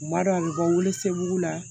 U b'a dɔn a bɛ bɔ wolosɛbɛn la